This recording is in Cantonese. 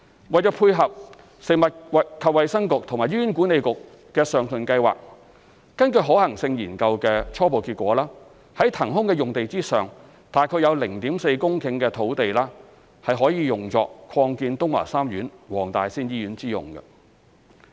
為配合食衞局及醫管局的上述計劃，根據可行性研究的初步結果，在騰空的用地上有約 0.4 公頃的土地，可作擴建東華三院黃大仙醫院之用。